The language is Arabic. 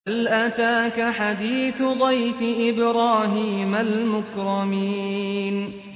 هَلْ أَتَاكَ حَدِيثُ ضَيْفِ إِبْرَاهِيمَ الْمُكْرَمِينَ